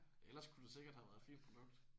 Ellers kunne det sikkert have været et fint produkt